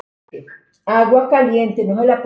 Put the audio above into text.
Amma hélt með Guði.